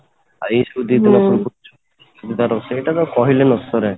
ଆଉ ଏଇ ସବୁ ଜିନିଷ ସେଇଟା ତ କହିଲେ ନସରେ